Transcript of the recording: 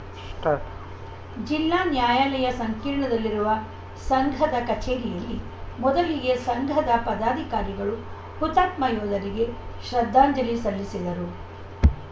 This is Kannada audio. ಸ್ಟಾರ್ಟ್ ಜಿಲ್ಲಾ ನ್ಯಾಯಾಲಯ ಸಂಕೀರ್ಣದಲ್ಲಿರುವ ಸಂಘದ ಕಚೇರಿಯಲ್ಲಿ ಮೊದಲಿಗೆ ಸಂಘದ ಪದಾಧಿಕಾರಿಗಳು ಹುತಾತ್ಮ ಯೋಧರಿಗೆ ಶ್ರದ್ಧಾಂಜಲಿ ಸಲ್ಲಿಸಿದರು